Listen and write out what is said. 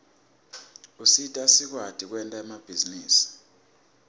usita sikwati kwenta emabhizinisi